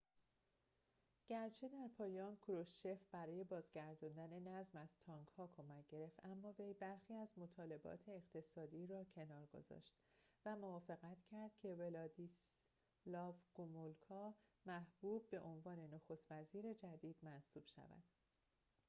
گرچه در پایان کروشچف برای بازگرداندن نظم از تانک‌ها کمک گرفت اما وی برخی از مطالبات اقتصادی را کنار گذاشت و موافقت کرد که ولادیسلاو گومولکا محبوب به عنوان نخست وزیر جدید منصوب شود